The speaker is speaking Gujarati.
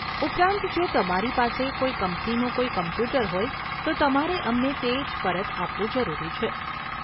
ઉપરાંત જો તમારી પાસે કોઈ કંપનીનું કોઈ કમ્પ્યુટર હોય તો તમારે અમને તે જ પરત આપવું જરૂરી છે.